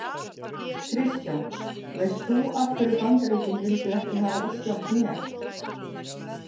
Kristján: Veist þú af hverju Bandaríkin vildu ekki hafa Ísland með?